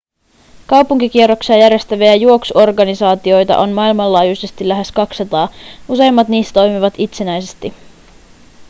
kaupunkikierroksia järjestäviä juoksuorganisaatioita on maailmanlaajuisesti lähes 200 useimmat niistä toimivat itsenäisesti